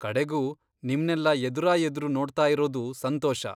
ಕಡೆಗೂ ನಿಮ್ನೆಲ್ಲಾ ಎದುರಾಎದ್ರು ನೋಡ್ತಾಯಿರೋದು ಸಂತೋಷ.